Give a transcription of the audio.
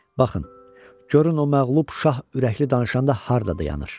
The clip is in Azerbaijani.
Baxın, görün o məğlub şah ürəkli danışanda harda dayanır.